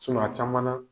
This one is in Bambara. a caman na